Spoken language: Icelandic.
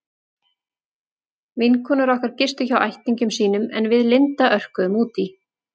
Vinkonur okkar gistu hjá ættingjum sínum en við Linda örkuðum út í